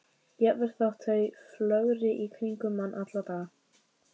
Jafnvel þótt þau flögri í kringum mann alla daga.